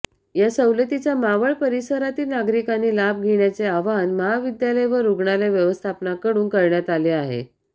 या सवलतीचा मावळ परिसरातील नागरिकांनी लाभ घेण्याचे आवाहन महाविद्यालय व रुग्णालय व्यवस्थापनाकडून करण्यात आले आहे